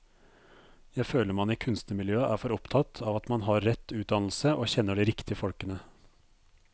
Jeg føler man i kunstnermiljøet er for opptatt av at man har rett utdannelse og kjenner de riktige folkene.